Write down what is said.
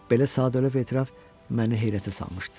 Belə sadəlövh etiraf məni heyrətə salmışdı.